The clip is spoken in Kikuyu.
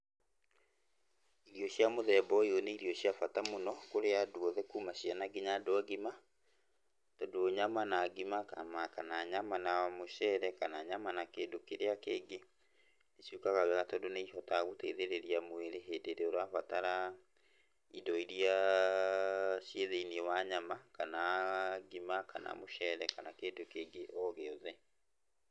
Irio cia mũthemba ũyũ nĩ irio cia bata mũno kũrĩ andũ othe kuuma ciana nginya andũ agima, tondũ nyama na ngima, kana nyama na mũceere, kana nyama na kĩndũ kĩrĩa kĩngĩ ciũkaga wega tondũ nĩ ihotaga gũteithĩrĩrĩa mwĩrĩ hĩndĩ ĩrĩa ũrabatara indo iria cii thĩiniĩ wa nyama, kana ngima, kana mũceere, kana kĩndũ kĩngĩ o gĩothe.